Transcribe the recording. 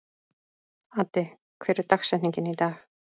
Addi, hver er dagsetningin í dag?